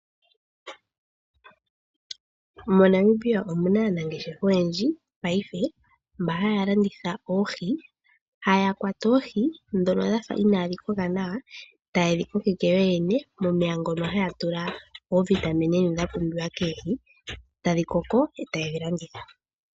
MoNamibia omuna aanangeshefa oyendji mongashingeyi , mbono haya landitha oohi, haya kwata oohi, ndhono dha fa inaadhi kola nawa , tayedhi kokeke yoyeyene momeya mono haya tula iitungithilutu mbyoka yapumbiwa koohi, tadhi koko etaye dhi landitha po.